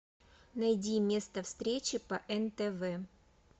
найди место встречи по нтв